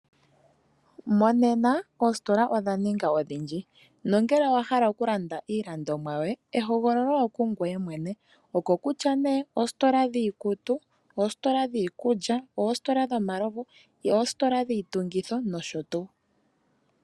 Monena oositola odhaninga odhindji nongele owahal okulanda iilandomwa yoye ehogololo okungoye mwene okokutya nee, oositola dhiikutu, oositola dhiikulya, oositola dhomalovu, oositola dhiitungitho nosho tuu.